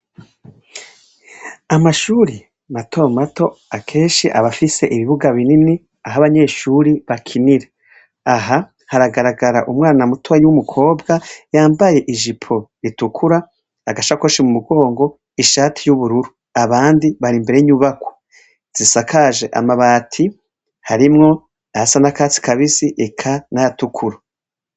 Amashure matomato kenshi abafise ibibuga binini aho abanyeshure bakinira aha hahagarara unwana mutoya wumukobwa yambaye ijipo itukura agashakoshi mumugongo ishati yubururu abandi barimbere yinyubakwa zisakaje amabati harimwo ayasa nakatsi kabisi eka nayatukura